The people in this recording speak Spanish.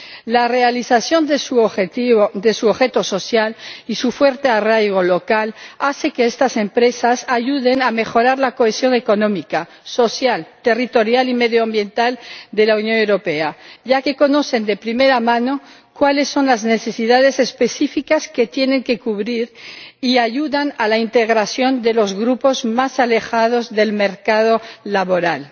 La realización de su objeto social y su fuerte arraigo local hacen que estas empresas ayuden a mejorar la cohesión económica, social, territorial y medioambiental de la Unión Europea, ya que conocen de primera mano cuáles son las necesidades específicas que tienen que cubrir y ayudan a la integración de los grupos más alejados del mercado laboral.